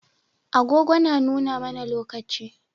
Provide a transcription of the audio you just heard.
Agogo na nuna mAna lokaci